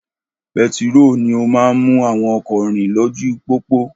Pẹtiró ni ó máa ń mú àwọn ọkọ rìn lójú pópó